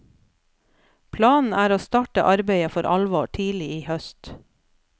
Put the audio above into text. Planen er å starte arbeidet for alvor tidlig i høst.